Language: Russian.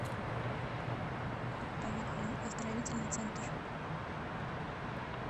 поехали оздоровительный центр